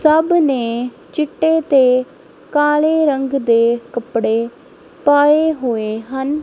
ਸਭ ਨੇ ਚਿੱਟੇ ਤੇ ਕਾਲੇ ਰੰਗ ਦੇ ਕੱਪੜੇ ਪਾਏ ਹੋਏ ਹਨ।